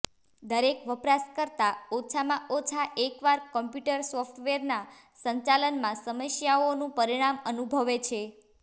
દરેક વપરાશકર્તા ઓછામાં ઓછા એકવાર કમ્પ્યુટર સોફ્ટવેરના સંચાલનમાં સમસ્યાઓનું પરિણામ અનુભવે છે